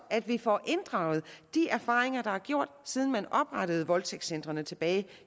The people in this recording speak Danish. at vi får inddraget de erfaringer der er gjort siden man oprettede voldtægtscentrene tilbage